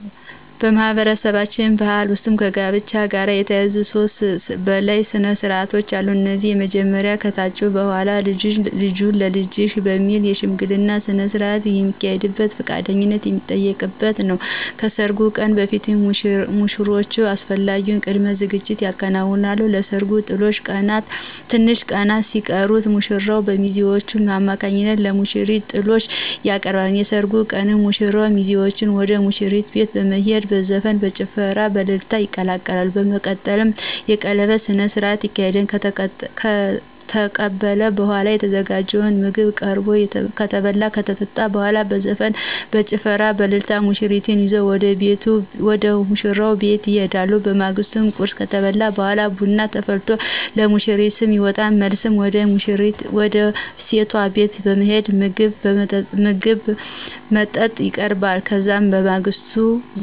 በማህበረሰባችን ባህል ውስጥ ከጋብቻ ጋር የተያያዙ ከሦስት በላይ ስነስርዓቶች አሉ። እነዚህም የመጀመሪያው ከተጫጩ በኋላ ልጃችሁን ለልጃችን በሚል የሽምግልና ስነስርዓት የሚካሄድበትና ፈቃደኝነት የሚጠየቅበት ነው። ከሰርጉ ቀን በፊት ሙሽሮቹ አስፈላጊውን ቅድመ ዝግጅት ያከናውናሉ። ለሰርጉ ትንሽ ቀናት ሲቀሩት ሙሽራው በሚዜዎቹ አማካኝነት ለሙሽሪት ጥሎሽ ያቀርባል። የሰርጉ ቀን ሙሽራውና ሚዜዎቹ ወደ ሙሽሪት ቤት በመሄድ በዘፈን፣ በጭፈራና በእልልታ ይቀላቀላሉ። በመቀጠልም የቀለበት ስነስርዓት ተካሂዶ ከተመረቀ በኋላ የተዘጋጀው ምግብ ቀርቦ ከተበላ ከተጠጣ በኋላ በዘፈን፣ በጭፈራና በእልልታ ሙሽሪትን ይዘው ወደ ሙሽራው ቤት ይሄዳሉ። በማግስቱ ቁርስ ከተበላ በኋላ ቡና ተፈልቶ ለሙሽሪት ስም ይወጣላታል። መልስ ወደ ሴቷ ቤት ይሄዳሉ ምግብ መጠጥ ይቀርብላቸዋል። ከዛም በማግስቱ የዘመድ ቅልቅል ይዘጋጃል።